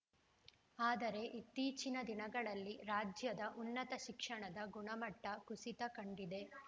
ಆದರೆ ಇತ್ತೀಚಿನ ದಿನಗಳಲ್ಲಿ ರಾಜ್ಯದ ಉನ್ನತ ಶಿಕ್ಷಣದ ಗುಣಮಟ್ಟಕುಸಿತ ಕಂಡಿದೆ